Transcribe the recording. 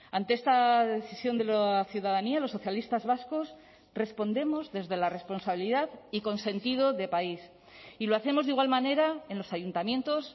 ante esta decisión de la ciudadanía los socialistas vascos respondemos desde la responsabilidad y con sentido de país y lo hacemos de igual manera en los ayuntamientos